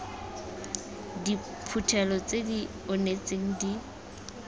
diphuthelo tse di onetseng di